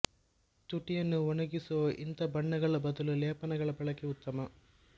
ತುಟಿಯನ್ನು ಒಣಗಿಸುವ ಇಂಥ ಬಣ್ಣಗಳ ಬದಲು ಲೇಪನಗಳ ಬಳಕೆ ಉತ್ತಮ